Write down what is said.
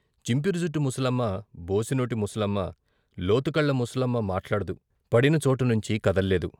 చింపిరి జుట్టు ముసలమ్మ, బోసినోటి ముసలమ్మ, లోతుకళ్ళ ముసలమ్మ మాట్లాడదు . పడిన చోటునుంచి కదల్లేదు.